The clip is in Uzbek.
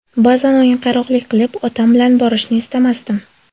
Ba’zan o‘yinqaroqlik qilib, otam bilan borishni istamasdim.